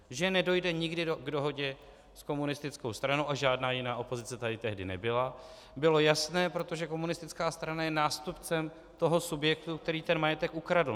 Že nedojde nikdy k dohodě s komunistickou stranou, a žádná jiná opozice tady tehdy nebyla, bylo jasné, protože komunistická strana je nástupcem toho subjektu, který ten majetek ukradl.